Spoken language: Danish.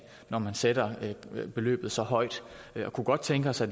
når man sætter beløbet så højt vi kunne godt tænke os at